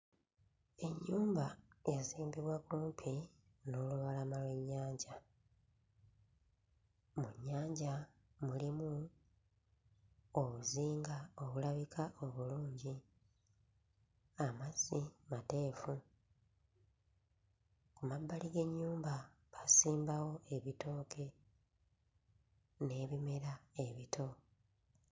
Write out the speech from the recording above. Ennyumba yazimbibwa kumpi n'olubalama lw'ennyanja. Mu nnyanja mulimu obuzinga obulabika olulungi. Amazzi mateefu. Ku mabbali g'ennyumba baasimbawo ebitooke n'ebimera ebito.